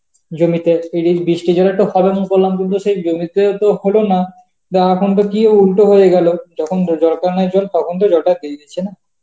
জমিতে বৃষ্টির জন্য একটা করলাম কিন্তু সেই জমিতে তো হলো না বা এখন তো গিয়ে উল্টো হয়ে গেল যখন দরকার নেই জল তখন তো জলটা দিয়ে দিচ্ছে না